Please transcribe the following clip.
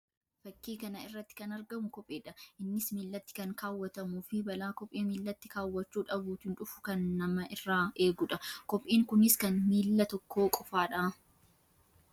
Fakkii kana irratti kan argamu kophee dha. Innis miillatti kan kaawwatamuu fi balaa kophee miillatti kaawwachuu dhabuutiin dhufu kan nama irraa eeguu dha. Kopheen kunis kan miilla tokkoo qofaa dha.